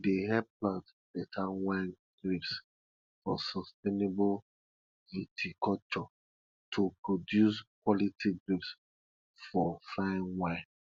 e dey help plant better wine grapes for sustainable viticulture to produce quality grapes for fine wine